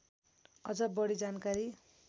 अझ बढी जानकारी